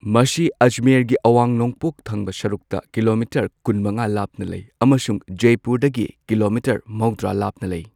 ꯃꯁꯤ ꯑꯖꯃꯦꯔꯒꯤ ꯑꯋꯥꯡ ꯅꯣꯡꯄꯣꯛ ꯊꯪꯕ ꯁꯔꯨꯛꯇ ꯀꯤꯂꯣꯃꯤꯇꯔ ꯀꯨꯟꯃꯉꯥ ꯂꯥꯞꯅ ꯂꯩ ꯑꯃꯁꯨꯡ ꯖꯦꯄꯨꯔꯗꯒꯤ ꯀꯤꯂꯣꯃꯤꯇꯔ ꯃꯧꯗ꯭ꯔꯥ ꯂꯥꯞꯅ ꯂꯩ꯫